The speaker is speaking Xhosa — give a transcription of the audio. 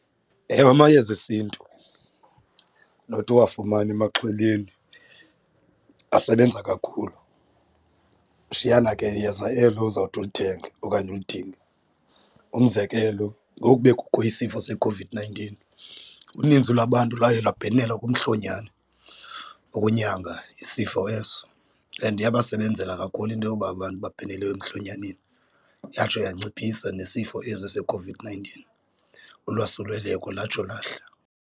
Ewe, amayeza esintu nothi uwafumana emaxhweleni asebenza kakhulu kushiyana ke yeza elo uzawuthi ulithenge okanye ulidinge. Umzekelo ngoku bekukho isifo seCOVID-nineteen uninzi lwabantu lwaye lwabhenela kumhlonyana ukunyanga isifo eso, and yabasebenzela kakhulu into yoba abantu babhenele emhlonyaneni yatsho yanciphisa nesifo esi seCOVID-nineteen ulwasuleleko latsho lahla.